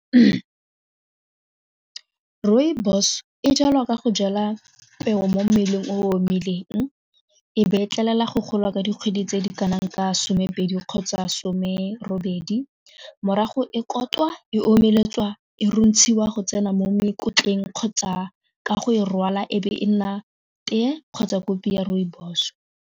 Rooibos e jalwa ka go jala peo mo mmeleng omileng ebe tlelelelwa go golwa ka dikgwedi tse di kanang ka some pedi kgotsa some robedi morago e e omeletswa e rontshiwa go tsena mo mokotleng kgotsa ka go e rwala e be e nna teye kgotsa kopi ya rooibos.